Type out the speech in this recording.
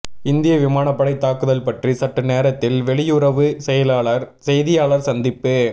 இந்திய விமானப்படை தாக்குதல் பற்றி சற்று நேரத்தில் வெளியுறவு செயலாளர் செய்தியாளர் சந்திப்பு